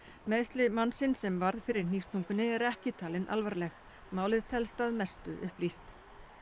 meiðsli mannsins sem varð fyrir eru ekki talin alvarleg málið telst að mestu upplýst